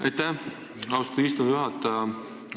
Aitäh, austatud istungi juhataja!